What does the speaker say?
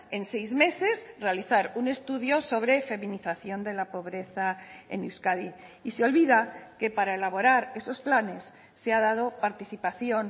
en seis meses realizar un estudio sobre feminización de la pobreza en euskadi y se olvida que para elaborar esos planes se ha dado participación